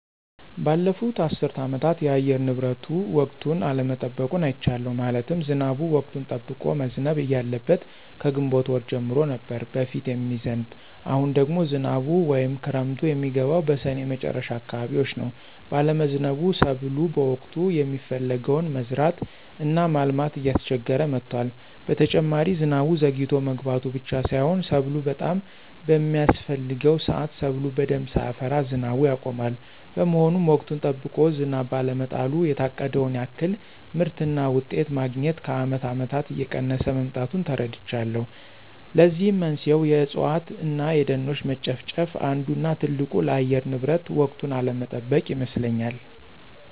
ባለፉት አስር አመታት የአየር ንብረቱ ወቅቱን አለመጠበቁን አይቻለሁ። ማለትም ዝናቡ ወቅቱን ጠብቆ መዝነብ እያለበት ከግንቦት ወር ጀምሮ ነበር በፊት የሚዝንብ አሁን ደግሞ ዝናቡ ወይም ክረምቱ የሚገባው በስኔ መጨረሻ አካባቢዎች ነው ባለመዝነቡ ሰብሎ በወቅቱ የሚፈለገውን መዝራት እና ማልማት እያስቸገረ መጥቷል። በተጨማሪ ዝናቡ ዘግይቶ መግባቱ ብቻ ሳይሆን ሰብሉ በጣም በሚያስፍሕገው ስአት ሰብሉ በደንብ ሳያፈራ ዝናቡ ያቆማል። በመሆኑም ወቅቱን ጠብቆ ዝናብ ባለመጣሉ የታቀደውን ያክል ምርትና ውጤት ማግኞት ከአመት አመታት እየቀነሰ መምጣቱን ተረድቻለሁ። ለዚህም መንስኤው የእፅዋት እነ የደኖች መጨፍጨፍ አንዱ እነ ትልቁ ለአየር ንብረት ወቅቱን አለመጠበቅ ይመስለኞል።